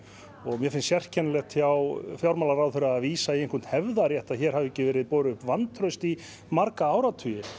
mér finnst sérkennilegt hjá fjármálaráðherra að vísa í einhvern hefðarrétt að hér hafi ekki verið borin upp vantraust í marga áratugi